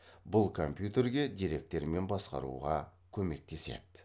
бұл компьютерге деректермен басқаруға көмектеседі